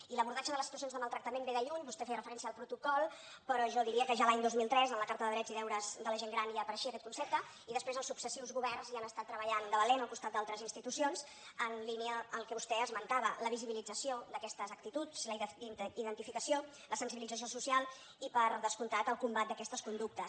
i l’abordatge de les situa cions de maltractament ve de lluny vostè feia referència al protocol però jo diria que ja l’any dos mil tres en la carta de drets i deures de la gent gran ja apareixia aquest concepte i després els successius governs hi han estat treballant de valent al costat d’altres institucions en línia amb el que vostè esmentava la visibilització d’aquestes actituds la identificació la sensibilització social i per descomptat el combat d’aquestes conductes